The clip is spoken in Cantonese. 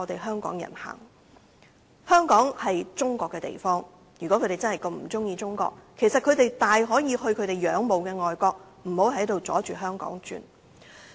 香港是中國的地方，如果他們真的不喜歡中國，其實大可去他們仰慕的外國，不要阻礙香港發展。